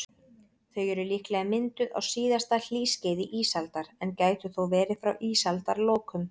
Þau eru líklega mynduð á síðasta hlýskeiði ísaldar, en gætu þó verið frá ísaldarlokum.